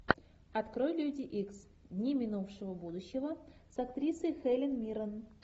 открой люди икс дни минувшего будущего с актрисой хелен миррен